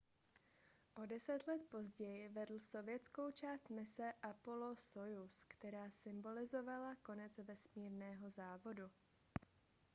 o deset let později vedl sovětskou část mise apollo-sojuz která symbolizovala konec vesmírného závodu